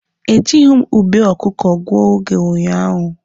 E jịghị m ube ọkụkọ gụọ oge ụnyaahụ.